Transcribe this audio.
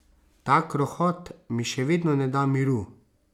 Ta krohot mi še vedno ne da miru.